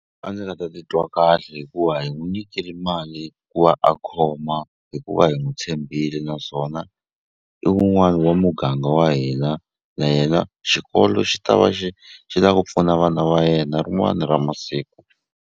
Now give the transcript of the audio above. A ndzi nga ta titwa kahle hikuva hi n'wi nyikile mali ku va a khoma hikuva hi n'wi tshembile naswona i wun'wani wa muganga wa hina na yena xikolo xi ta va xi xi la ku pfuna vana va yena rin'wani ra masiku.